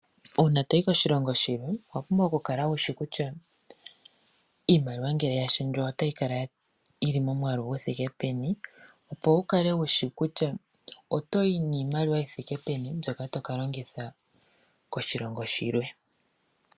Uuna toyi koshilongo shilwe owa pumbwa okukala wushi kutya iimaliwa ngele ya shendjwa otayi kala yili momwaalu guthike peni opo wu kale wushi kutya otoyi niimaliwa yi thike peni mbyoka toka longitha koshilongo shilwe.